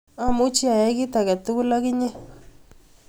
Amuchi ayai kit age tugul ak inye